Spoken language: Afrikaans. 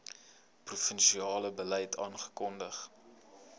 provinsiale beleid afgekondig